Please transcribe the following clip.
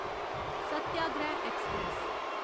Satyagraha express